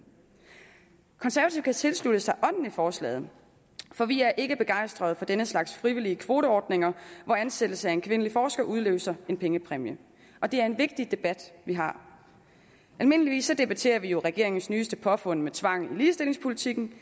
konservative kan tilslutte sig ånden i forslaget for vi er ikke begejstrede for denne slags frivillige kvoteordninger hvor ansættelse af en kvindelig forsker udløser en pengepræmie det er en vigtig debat vi har almindeligvis debatterer vi jo regeringens nyeste påfund med tvang i ligestillingspolitikken